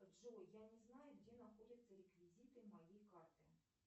джой я не знаю где находятся реквизиты моей карты